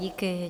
Díky.